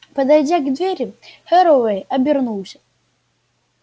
подойдя к двери херроуэй обернулся